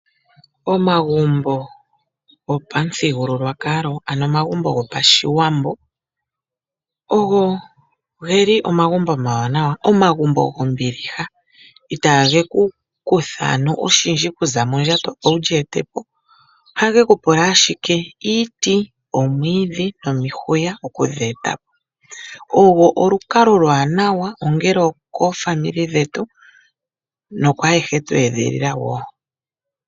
Omagumbo gopamuthigululwakalo nenge omagumbo gopashiwambo ogo geli omagumbo omawanawa oshoka omagumbo gombiliha itaage ku kutha ano oshindji okuza mondjato opo wu li ete po. Ohage ku pula ashike iiti, omwiidhi nomihwiya okuga eta po. Ogo olukalwa oluwanawa ongele okaa kwanezimo yetu nokwaayehe twe edhilila wo.